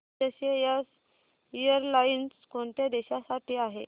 SAS airlines कोणत्या देशांसाठी आहे